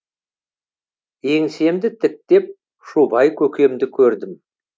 еңсемді тіктеп шубай көкемді көрдім